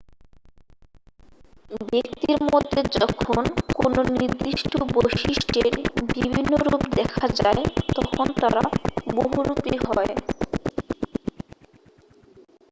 ব্যক্তির মধ্যে যখন কোনও নির্দিষ্ট বৈশিষ্ট্যের বিভিন্ন রূপ দেখা যায় তখন তারা বহুরূপী হয়